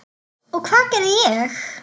Og hvað gerði ég?